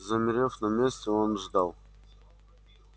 замерев на месте он ждал